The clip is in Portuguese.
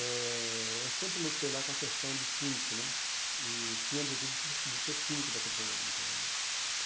Eh eu sempre lutei lá com a questão de síndico né, e tinha o objetivo de ser de ser síndico daquele condomínio também né.